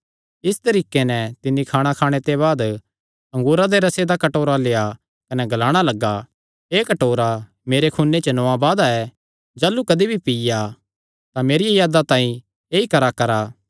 इस तरीके नैं तिन्नी खाणा खाणे ते बाद अंगूरा दे रसे दा कटोरा लेआ कने ग्लाणा लग्गा एह़ कटोरा मेरे खूने च नौआं वादा ऐ जाह़लू कदी भी पीआ तां मेरिया यादा तांई ऐई कराकरा